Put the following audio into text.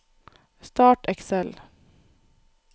Start Excel